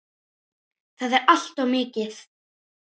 Það er allt of mikið.